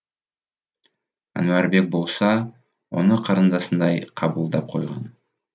әнуарбек болса оны қарындасындай қабылдап қойған